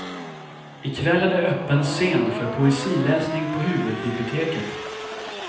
I kväll är det öppen scen för poesiläsning på huvudbiblioteket.